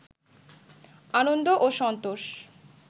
আনন্দ ও সন্তোষ